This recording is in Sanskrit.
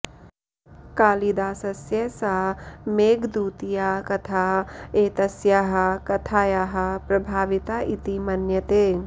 कालिदासस्य सा मेघदूतीया कथा एतस्याः कथायाः प्रभाविता इति मन्यते